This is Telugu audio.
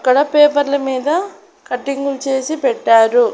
ఇక్కడ పేపర్ల మీద కటింగ్ చేసి పెట్టారు.